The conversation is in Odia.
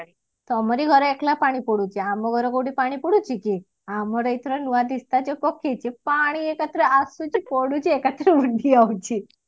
ତମରି ଘରେ ଏକେଲା ପାଣି ପଡୁଛି ଆମ ଘରେ କୋଉଠି ପାଣି ପଡୁଛି କି ଆମର ଏଥର ନୂଆ ଦିସ୍ତା ଯୋଉ ପକେଇଛୁ ପାଣି ଏକାଥରେ ଆସୁଛି ପଡୁଛି ଏକାଥରେ ହଉଛି